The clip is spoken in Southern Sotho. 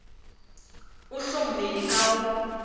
o hlomme e ka o